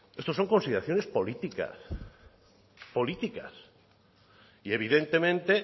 estos son consideraciones políticas y evidentemente